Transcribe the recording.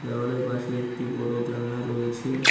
দেওয়ালের পাশে একটি বড় জানলা রয়েছে।